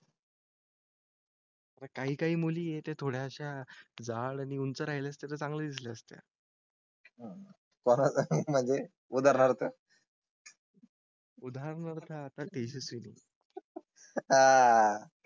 काही काही मुली येते. थोडयाशा झाड आणि उंच राहिले तर चांगले झाले असते. हां म्हणजे उदा. राहतात. उदाहरणा आता तेच असेल आह. हां